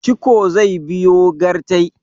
ciko zai biyo gyartai